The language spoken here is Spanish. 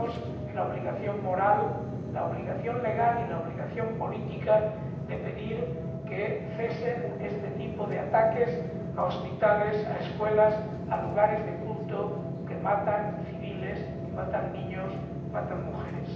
Tenemos la obligación moral, la obligación legal y la obligación política de pedir que cesen este tipo de ataques a hospitales, a escuelas, a lugares de culto, que matan a civiles, que matan a niños, que matan a mujeres.